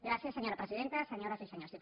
gràcies senyora presidenta senyores i senyors diputats